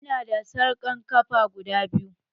Ina da sarƙan ƙafa guda biyu